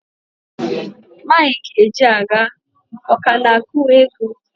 Mike Ejeagha, ọ ka na-akụ egwu?